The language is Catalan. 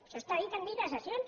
això està dit en llibre de sessions